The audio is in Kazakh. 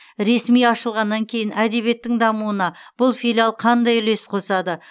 ресми ашылғаннан кейін әдебиеттің дамуына бұл филиал қандай үлес қосады